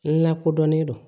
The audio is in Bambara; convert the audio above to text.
N lakodɔnnen do